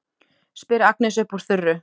spyr Agnes upp úr þurru.